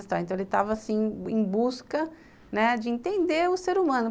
Então, ele estava, assim, em busca, né, de entender o ser humano.